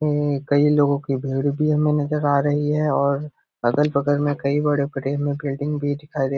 ऐ कई लोगो की भीड़ भी हमें नज़र आ रही है और अगल-बगल में कई बड़े-बड़े हमें बिल्डिंग भी दिखाई दे --